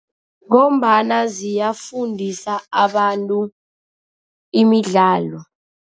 Ngombana ziyafundisa abantu imidlalo.